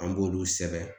An b'olu sɛbɛn